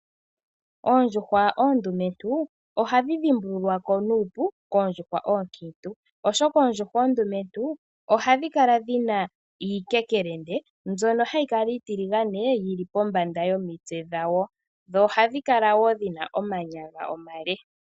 Oondjuhwa oondumentu ohadhi dhimbululwa ko nuupu koondjuhwa oonkiintu, oshoka oondjuhwa oondumentu ohadhi kala dhina iikekelende mbyono hayi kala iitiligane yili pombanda yomitse dhayo. Dho ohadhi kala wo dhina omanyala omale.